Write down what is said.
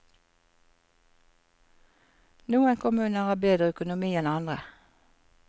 Noen kommuner har bedre økonomi enn andre.